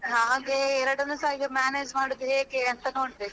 ಹಾ ಹಾಗೆ ಎರಡನ್ನು ಸಾ manage ಮಾಡುದು ಹೇಗೆ ಅಂತ ನೋಡ್ಬೇಕು.